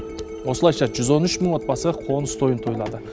осылайша жүз он үш мың отбасы қоныс тойын тойлады